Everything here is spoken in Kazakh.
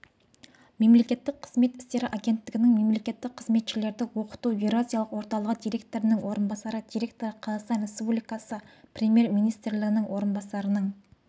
мемлекеттік қызмет істері агенттігінің мемлекеттік қызметшілерді оқыту еуразиялық орталығы директорының орынбасары директоры қазақстан республикасы премьер-министрінің орынбасарының